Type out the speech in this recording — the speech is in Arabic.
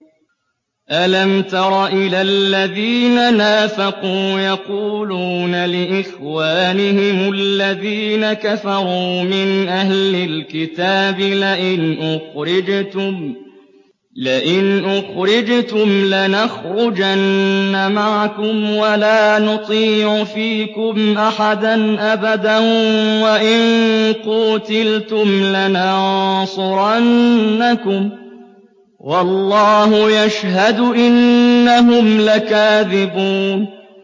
۞ أَلَمْ تَرَ إِلَى الَّذِينَ نَافَقُوا يَقُولُونَ لِإِخْوَانِهِمُ الَّذِينَ كَفَرُوا مِنْ أَهْلِ الْكِتَابِ لَئِنْ أُخْرِجْتُمْ لَنَخْرُجَنَّ مَعَكُمْ وَلَا نُطِيعُ فِيكُمْ أَحَدًا أَبَدًا وَإِن قُوتِلْتُمْ لَنَنصُرَنَّكُمْ وَاللَّهُ يَشْهَدُ إِنَّهُمْ لَكَاذِبُونَ